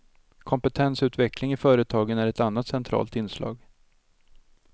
Kompetensutveckling i företagen är ett annat centralt inslag.